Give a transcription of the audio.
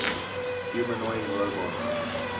humanoid robots